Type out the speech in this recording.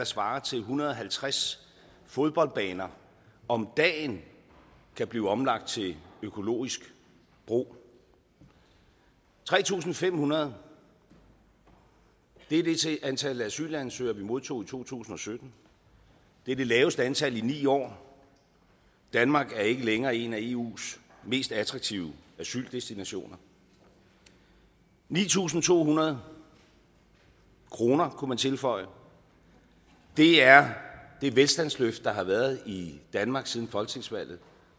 svarer til en hundrede og halvtreds fodboldbaner om dagen kan blive omlagt til økologisk brug tre tusind fem hundrede det er det antal asylansøgere vi modtog i to tusind og sytten det er det laveste antal i ni år danmark er ikke længere en af eus mest attraktive asyldestinationer ni tusind to hundrede kroner kunne man tilføje er det velstandsløft der har været i danmark siden folketingsvalget